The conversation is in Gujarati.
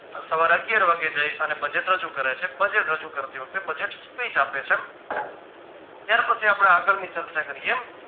સવારે અગિયાર વાગે જાય અને budget રજુ કરે છે budget રજુ કરતી વખતે budget speech આપે છે ત્યાર પછી આપણે આગળની ચર્ચા કરીયે